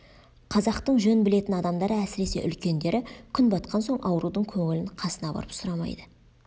қазақтың жөн білетін адамдары әсіресе үлкендері күн батқан соң аурудың көңілін қасына барып сұрамайды